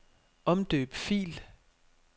Omdøb fil.